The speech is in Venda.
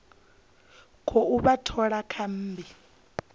khou vha thola kha mmbi